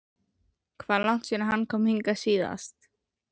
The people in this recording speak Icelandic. Hvað er langt síðan hann kom hingað síðast?